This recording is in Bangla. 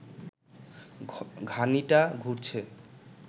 ঘানিটা ঘুরছে